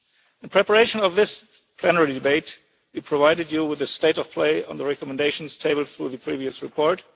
In preparation for this plenary debate we provided you with the state of play on the recommendations tabled through the previous report.